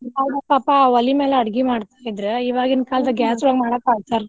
ಅವಾಗ ಪಾಪಾ ಒಲಿ ಮ್ಯಾಲ ಅಡ್ಗಿ ಮಾಡ್ತಾ ಇದ್ರ್. ಈವಾಗಿನ gas ಒಳಗ್ ಮಾಡಾಕ ಅಳ್ತಾರ.